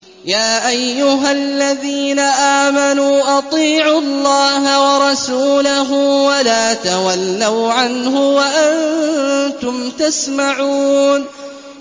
يَا أَيُّهَا الَّذِينَ آمَنُوا أَطِيعُوا اللَّهَ وَرَسُولَهُ وَلَا تَوَلَّوْا عَنْهُ وَأَنتُمْ تَسْمَعُونَ